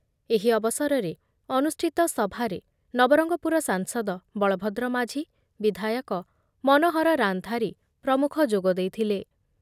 ଏହି ଅବସରରେ ଅନୁଷ୍ଠିତ ସଭାରେ ନବରଙ୍ଗପୁର ସାଂସଦ ବଳଭଦ୍ର ମାଝି, ବିଧାୟକ ମନୋହର ରାନ୍ଧାରୀ ପ୍ରମୁଖ ଯୋଗଦେଇଥିଲେ ।